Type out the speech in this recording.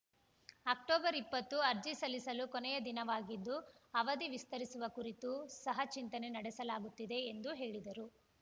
October ಇಪ್ಪತ್ತು ಅರ್ಜಿ ಸಲ್ಲಿಸಲು ಕೊನೆಯ ದಿನವಾಗಿದ್ದು ಅವಧಿ ವಿಸ್ತರಿಸುವ ಕುರಿತು ಸಹ ಚಿಂತನೆ ನಡೆಸಲಾಗುತ್ತಿದೆ ಎಂದು ಹೇಳಿದರು